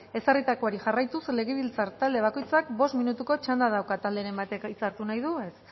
ezarritakoari jarraituz legebiltzar talde bakoitzak bost minutuko txanda dauka talderen batek hitza hartu nahi du ez